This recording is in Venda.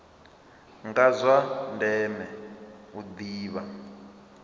ndi zwa ndeme u ḓivha